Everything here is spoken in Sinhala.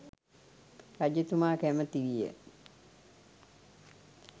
රජතුමා කැමැති විය.